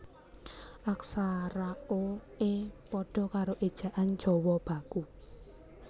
Aksara o e pada karo Ejaan Jawa Baku